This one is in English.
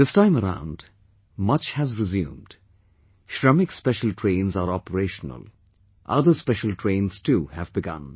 This time around much has resumedShramik special trains are operational; other special trains too have begun